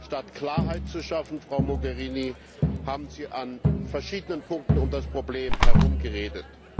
Statt Klarheit zu schaffen, Frau Mogherini, haben Sie an verschiedenen Punkten um das Problem herumgeredet.